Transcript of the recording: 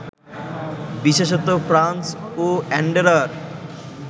বিশেষত ফ্রান্স ও অ্যান্ডোরার